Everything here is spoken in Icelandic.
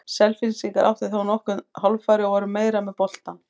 Selfyssingar áttu þá nokkur hálffæri og voru meira með boltann.